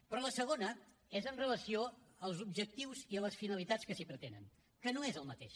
però la segona és amb relació als objectius i a les finalitats que s’hi pretenen que no és el mateix